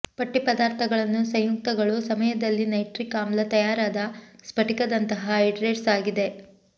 ಪಟ್ಟಿ ಪದಾರ್ಥಗಳನ್ನು ಸಂಯುಕ್ತಗಳು ಸಮಯದಲ್ಲಿ ನೈಟ್ರಿಕ್ ಆಮ್ಲ ತಯಾರಾದ ಸ್ಫಟಿಕದಂತಹ ಹೈಡ್ರೇಟ್ಸ್ ಆಗಿದೆ